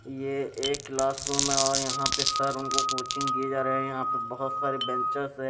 ये एक class room है और यहां पे सर उनको कोचिंग किए जा रहे हैं यहां पर बहोत सारे बचेंस है।